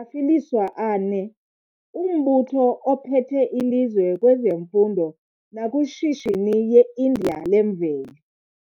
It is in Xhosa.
afilisiwe a ne - umbutho op hethe ilizwe kwezemfundo nakwishishini ye India lemveli.